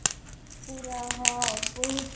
ପୁରା ହଁ ବହୁତ